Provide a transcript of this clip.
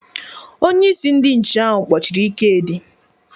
Onye isi ndị nche ahụ kpọchiri Ikedi.